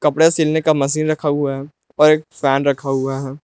कपड़े सिलने का मशीन रखा हुआ है और एक फैन रखा हुआ है।